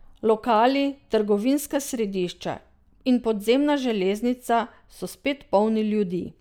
Lokali, trgovinska središča in podzemna železnica so spet polni ljudi.